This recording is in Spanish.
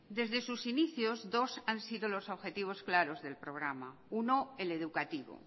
desde sus inicios dos han sido los objetivos claros del programa uno el educativo